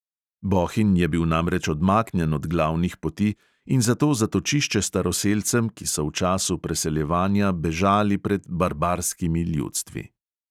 Bohinj je bil namreč odmaknjen od glavnih poti in zato zatočišče staroselcem, ki so v času preseljevanja bežali pred "barbarskimi" ljudstvi.